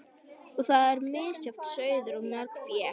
Og þar er misjafn sauður í mörgu fé.